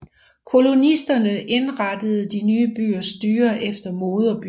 Kolonisterne indrettede de nye byers styre efter moderbyen